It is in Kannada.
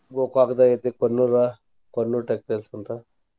Gokak ದಾಗ ಐತಿ Konnur konnur textiles ಅಂತ.